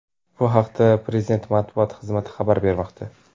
Bu haqda prezident Matbuot xizmati xabar bermoqda.